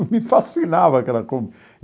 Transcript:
E me fascinava aquela Kombi.